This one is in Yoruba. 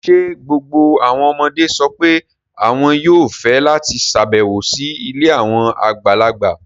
Ṣé gbogbo àwọn ọmọdé sọ pé àwọn yóò fẹ́ láti ṣàbẹ̀wò sí ilé àwọn àgbàlagbà?